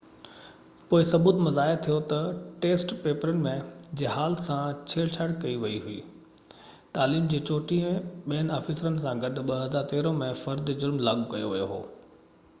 پوءِ ثبوت مان ظاهر ٿيو ته ٽيسٽ پيپرن جي هال سان ڇيڙ ڇاڙ ڪئي وئي هئي تعليم جي 34 ٻين آفيسرن سان گڏ 2013 ۾ فرد جرم لاڳو ڪيو ويو هو